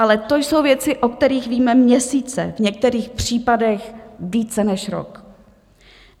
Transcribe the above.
Ale to jsou věci, o kterých víme měsíce, v některých případech více než rok.